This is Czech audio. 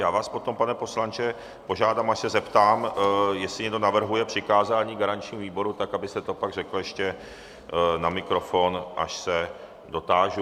Já vás potom, pane poslanče, požádám, až se zeptám, jestli někdo navrhuje přikázání garančnímu výboru, tak abyste to pak řekl ještě na mikrofon, až se dotážu.